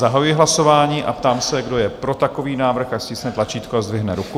Zahajuji hlasování a ptám se, kdo je pro takový návrh, ať stiskne tlačítko a zdvihne ruku.